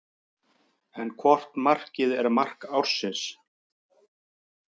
En hvort markið er mark ársins?